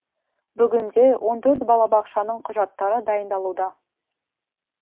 бүгінде он төрт балабақшаның құжаттары дайындалуда